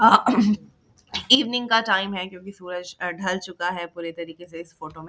अ evening का time है क्योंकि सूरज ढल चूका है पूरे तरीके से इस फोटो में।